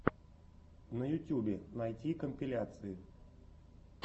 на ютьюбе найти компиляции